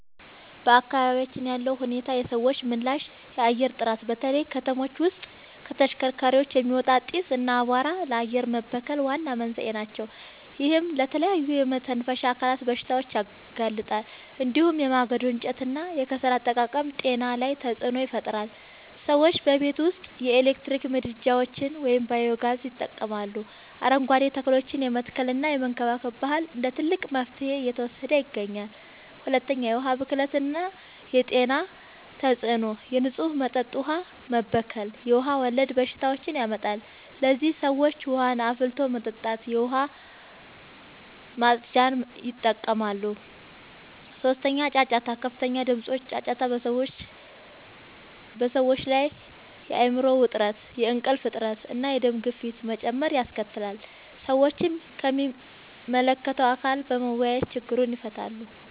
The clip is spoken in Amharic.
በአካባቢያችን ያለው ሁኔታና የሰዎች ምላሽ፦ 1. የአየር ጥራት፦ በተለይ ከተሞች ውስጥ ከተሽከርካሪዎች የሚወጣ ጢስ እና አቧራ ለአየር መበከል ዋና መንስኤዎች ናቸው። ይህም ለተለያዩ የመተንፈሻ አካላት በሽታዎች ያጋልጣል። እንዲሁም የማገዶ እንጨትና የከሰል አጠቃቀም ጤና ላይ ተጽዕኖ ይፈጥራል። ሰዎችም በቤት ውስጥ የኤሌክትሪክ ምድጃዎችን ወይም ባዮ-ጋዝ ይጠቀማሉ፣ አረንጓዴ ተክሎችን የመትከልና የመንከባከብ ባህል እንደ ትልቅ መፍትሄ እየተወሰደ ይገኛል። 2. የዉሀ ብክለት የጤና ተጽዕኖ፦ የንጹህ መጠጥ ውሃ መበከል የውሃ ወለድ በሽታዎችን ያመጣል። ለዚህም ሰዎች ውሃን አፍልቶ መጠጣትና የዉሃ ማፅጃን ይጠቀማሉ። 3. ጫጫታ፦ ከፍተኛ ድምጾች (ጫጫታ) በሰዎች ላይ የአይምሮ ዉጥረት፣ የእንቅልፍ እጥረት፣ እና የደም ግፊት መጨመር ያስከትላል። ሰዎችም ከሚመለከተዉ አካል ጋር በመወያየት ችግሩን ይፈታሉ።